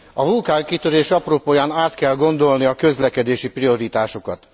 A vulkánkitörés apropóján át kell gondolni a közlekedési prioritásokat.